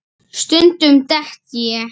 Stundum dett ég.